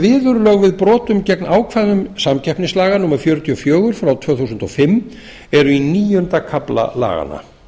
við brotum gegn ákvæðum samkeppnislaga númer fjörutíu og fjögur tvö þúsund og fimm eru í níunda kafla laganna